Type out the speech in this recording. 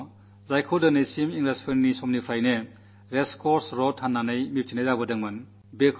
പ്രധാനമന്ത്രിയുടെ വസതി ഇംഗ്ലീഷുകാരുടെ കാലം മുതൽ ഇതുവരെ റേസ് കോഴ്സ് റോഡ് എന്ന പേരിലാണ് അറിയപ്പെട്ടിരുന്നത്